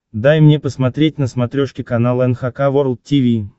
дай мне посмотреть на смотрешке канал эн эйч кей волд ти ви